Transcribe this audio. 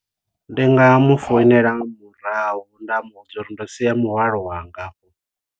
Ndi nga mu founela murahu nda mu vhudza uri ndo sia muhwalo wanga.